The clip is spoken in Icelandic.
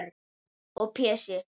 Og Pési